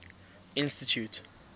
institute